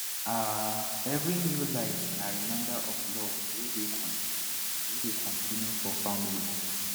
um every new life na reminder of love wey dey continue wey dey continue for family